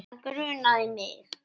Það grunaði mig.